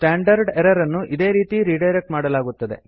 standard error ಅನ್ನು ಇದೆ ರೀತಿ ರಿಡೈರೆಕ್ಟ್ ಮಾಡಲಾಗುತ್ತದೆ